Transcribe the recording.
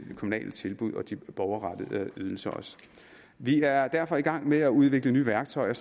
kommunale tilbud og de borgerrettede ydelser vi er derfor i gang med at udvikle nye værktøjer